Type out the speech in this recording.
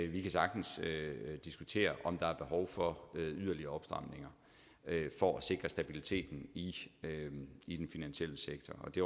vi kan sagtens diskutere om der er behov for yderligere opstramninger for at sikre stabiliteten i i den finansielle sektor det